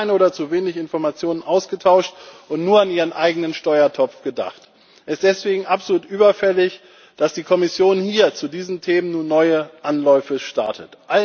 Sie haben keine oder zu wenig Informationen ausgetauscht und nur an ihren eigenen Steuertopf gedacht. Es ist deswegen absolut überfällig, dass die Kommission hier zu diesen Themen nun neue Anläufe startet.